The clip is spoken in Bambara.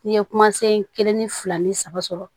N'i ye kumasen kelen ni fila ni saba sɔrɔ